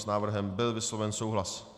S návrhem byl vysloven souhlas.